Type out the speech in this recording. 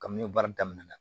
Kabini baara daminɛna